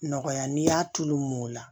Nɔgɔya n'i y'a tulu mɔ ola